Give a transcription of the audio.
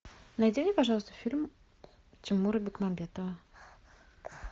найди мне пожалуйста фильм тимура бекмамбетова